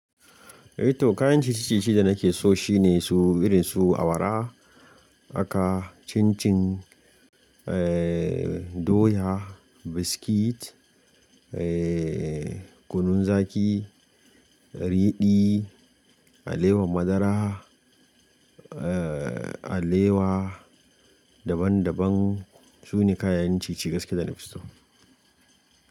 Eh to kayan ciye-ciye da nake so shine su irin su awara haka, cincin, doya, biskit, kunun zaki, ridi, alewar madara, alewa daban daban. Su ne kayan ciye-ciye gaskiya da na fi so.